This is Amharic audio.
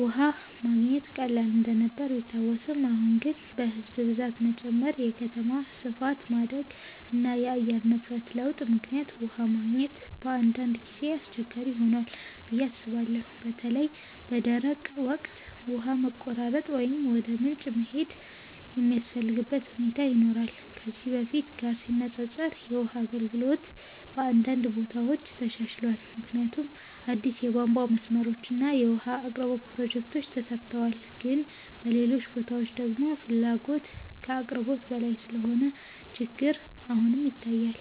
ውሃ መገኘት ቀላል እንደነበር ቢታወስም፣ አሁን ግን በሕዝብ ብዛት መጨመር፣ የከተማ ስፋት ማደግ እና የአየር ንብረት ለውጥ ምክንያት ውሃ ማግኘት በአንዳንድ ጊዜ አስቸጋሪ ሆኗል ብዬ አስባለሁ። በተለይ በደረቅ ወቅት ውሃ መቆራረጥ ወይም ወደ ምንጭ መሄድ የሚያስፈልግበት ሁኔታ ይኖራል። ከዚህ በፊት ጋር ሲነፃፀር የውሃ አገልግሎት በአንዳንድ ቦታዎች ተሻሽሏል፣ ምክንያቱም አዲስ የቧንቧ መስመሮች እና የውሃ አቅርቦት ፕሮጀክቶች ተሰርተዋል። ግን በሌሎች ቦታዎች ደግሞ ፍላጎት ከአቅርቦት በላይ ስለሆነ ችግር አሁንም ይታያል።